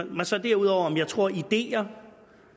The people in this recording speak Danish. mig så derudover om jeg tror at ideer